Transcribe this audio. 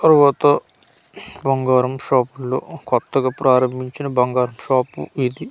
తర్వాత బంగారం షాపు ల్లో కొత్తగా ప్రారంబించిన బంగారుపు షాప్ ఇది--